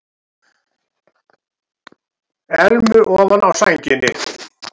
Elmu ofan á sænginni.